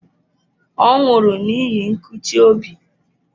Ọ nwụrụ n'ihi nkụchi obi.